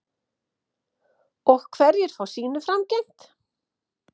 Og hverjir fá sínu framgengt?